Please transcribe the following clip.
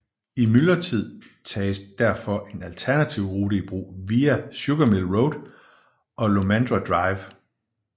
I myldretider tages derfor en alternativ rute i brug via Sugarmill Road og Lomandra Drive